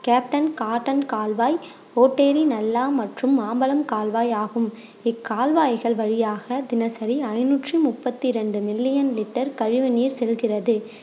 captain Cotton கால்வாய், ஓட்டேரி நல்லா மற்றும் மாம்பழம் கால்வாய் ஆகும் இக்கால்வாய்கள் வழியாக தினசரி ஐநூற்றி முப்பத்தி ரெண்டு million liter கழிவுநீர் செல்கிறது